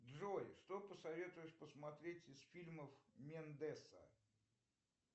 джой что посоветуешь посмотреть из фильмов мендеса